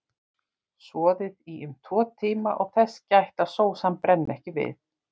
Soðið í um tvo tíma og þess gætt að sósan brenni ekki við.